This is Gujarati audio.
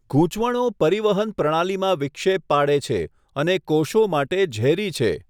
ગૂંચવણો પરિવહન પ્રણાલીમાં વિક્ષેપ પાડે છે અને કોષો માટે ઝેરી છે.